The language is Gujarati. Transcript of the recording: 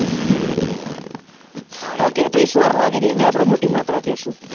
Okay તો જે સ્વર લાગે છે એન આપડે મોટી માત્રા કહેશું.